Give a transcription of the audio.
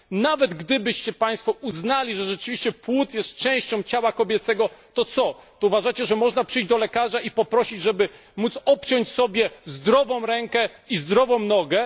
Nawet gdybyście państwo uznali, że rzeczywiście płód jest częścią ciała kobiecego, to czy uważacie, że można przyjść do lekarza i poprosić, żeby móc obciąć sobie zdrową rękę i zdrową nogę?